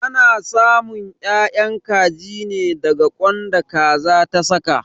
Ana samun 'ya'yan kaji ne daga ƙwan da Kaza ta saka.